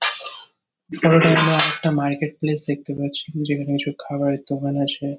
আমরা একটা marketplace দেখতে পাচ্ছি। যেখানে কিছু খাবারের দোকান আছে--